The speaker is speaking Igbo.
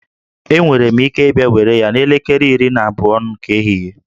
Enwere m ike ịbịa were ya n'elekere iri na abụọ nke ehihie